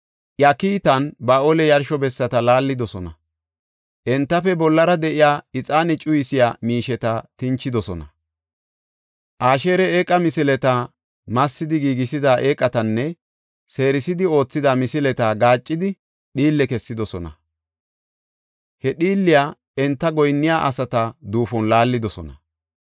Iya kiitan, Ba7aale yarsho bessata laallidosona; entafe bollara de7iya ixaane cuyisiya miisheta tinchidosona. Asheera eeqa misileta, massidi giigisida eeqatanne seerisidi oothida misileta gaaccidi dhiille kessidosona; he dhiilliya enta goyinniya asata duufon laallidosona.